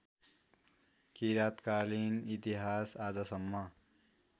किराँतकालीन इतिहास आजसम्म